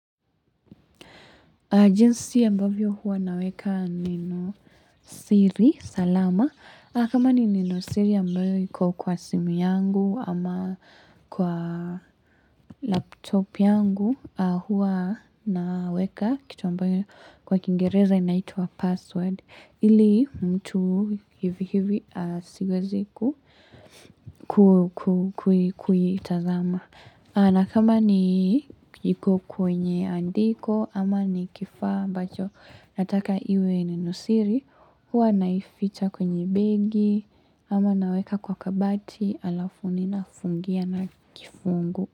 Jinsi ambavyo huwa naweka neno siri, salama. Kama ni neno siri ambayo iko kwa simu yangu ama kwa laptop yangu, huwa naweka kitu ambayo kwa kiingereza inaitwa password. Ili mtu hivi hivi asigweziku kuitazama. Na kama ni iko kwenye andiko ama ni kifaa ambacho nataka iwe nenosiri, huwa naificha kwenye begi ama naweka kwa kabati halafu ni na fungia na kifunguo.